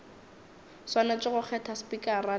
swanetše go kgetha spikara le